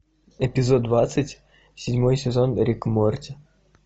эпизод двадцать седьмой сезон рик и морти